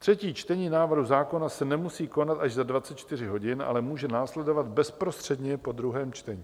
Třetí čtení návrhu zákona se nemusí konat až za 24 hodin, ale může následovat bezprostředně po druhém čtení.